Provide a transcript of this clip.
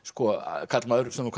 karlmaður sem þú kallar